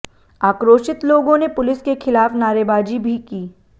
आक्रोशित लोगों ने पुलिस के खिलाफ नारेबाजी भी की